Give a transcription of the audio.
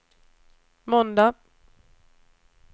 måndag